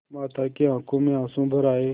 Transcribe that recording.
माता की आँखों में आँसू भर आये